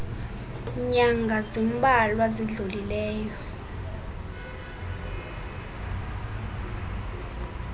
nyanga zimbalwa zidlulileyo